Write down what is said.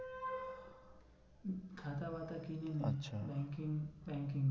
খাতা বাতা কিনেনে আচ্ছা banking banking